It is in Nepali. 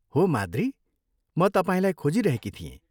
हो माद्री, म तपाईँलाई खोजिरहेकी थिएँ।